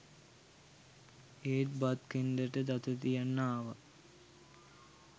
ඒත් බත් කෙන්ඩට දත තියන්න ආවා